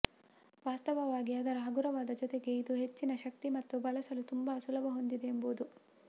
ವಾಸ್ತವವಾಗಿ ಅದರ ಹಗುರವಾದ ಜೊತೆಗೆ ಇದು ಹೆಚ್ಚಿನ ಶಕ್ತಿ ಮತ್ತು ಬಳಸಲು ತುಂಬಾ ಸುಲಭ ಹೊಂದಿದೆ ಎಂಬುದು